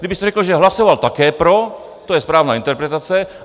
Kdybyste řekl, že hlasoval také pro, to je správná interpretace.